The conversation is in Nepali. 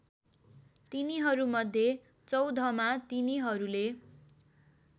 तिनीहरूमध्ये चौधमा तिनीहरूले